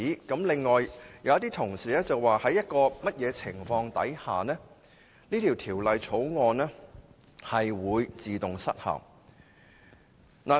此外，有議員提出在某情況下，《條例草案》會自動失效。